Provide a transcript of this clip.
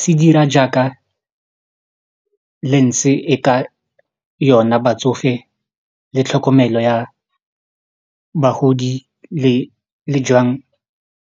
se dira jaaka e ka yona batsofe le tlhokomelo ya bagodi le le jang